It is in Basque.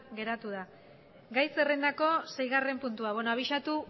geratu da gai zerrendako seigarren puntua beno abisatu